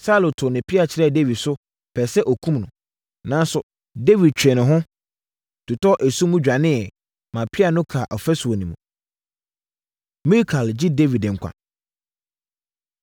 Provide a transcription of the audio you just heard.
Saulo too ne pea kyerɛɛ Dawid so, pɛɛ sɛ ɔkum no. Nanso, Dawid twee ne ho, totɔɔ esum mu dwaneeɛ maa pea no kaa ɔfasuo no mu. Mikal Gye Dawid Nkwa